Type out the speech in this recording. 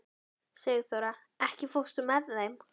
Sigþóra, ekki fórstu með þeim?